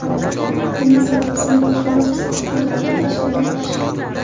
Bunga sabab sinfdoshlar orasida hukmronlik qilishga intilish.